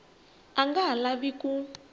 a nga ha lavi ku